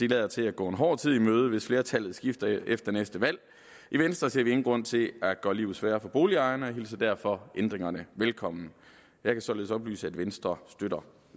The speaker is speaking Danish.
lader til at gå en hård tid i møde hvis flertallet skifter efter næste valg i venstre ser vi ingen grund til at gøre livet sværere for boligejerne og hilser derfor ændringerne velkommen jeg kan således oplyse at venstre støtter